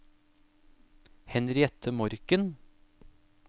Henriette Morken